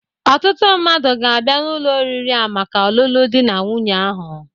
Ọtụtụ mmadụ ga-abia n'ụlọ oriri a maka ọlụlụ dị na nwunye ahụ.